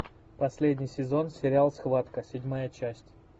последний сезон сериал схватка седьмая часть